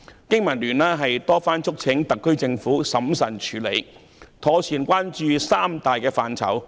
經民聯多番促請特區政府審慎處理，妥善關注三大範疇。